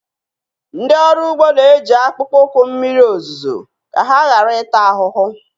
Ndị ọrụ ugbo na-eji akpụkpọ ụkwụ mmiri ozuzo ka ha ghara ịta ahụhụ